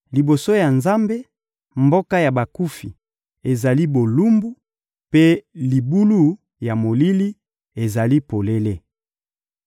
Liboso ya Nzambe, mboka ya bakufi ezali bolumbu, mpe libulu ya molili ezali polele.